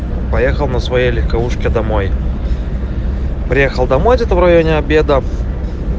поехал на своей легковушке домой приехал домой где-то в районе обеда